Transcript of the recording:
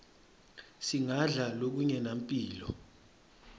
singadla lokungenampilo